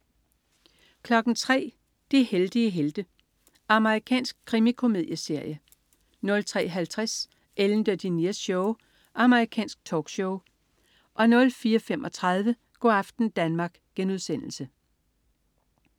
03.00 De heldige helte. Amerikansk krimikomedieserie 03.50 Ellen DeGeneres Show. Amerikansk talkshow 04.35 Go' aften Danmark*